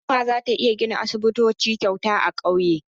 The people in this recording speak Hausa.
Hukuma za ta gina aisibitoci kyauta a ƙauyuka.